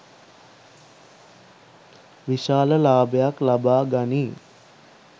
විශාල ලාභයක් ලබා ගනියි